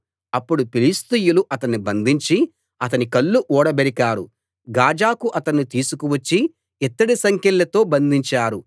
అప్పుడు ఫిలిష్తీయులు అతణ్ణి బంధించి అతని కళ్ళు ఊడబెరికారు గాజాకు అతణ్ణి తీసుకు వచ్చి ఇత్తడి సంకెళ్ళతో బంధించారు